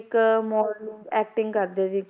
ਇੱਕ modeling acting ਕਰਦੇ ਸੀ,